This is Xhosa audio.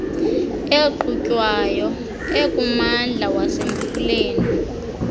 eqhutywayo ekummandla wasemfuleni